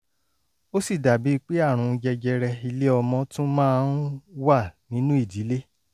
ó sì dàbíi pé àrùn jẹjẹrẹ ilé-ọmọ tún máa ń wà nínú ìdílé